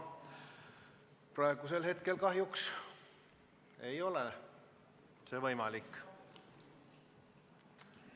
Praegu kahjuks ei ole see võimalik.